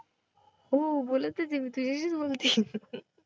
हो, बोलतच आहे मी तुझ्याशीच बोलते.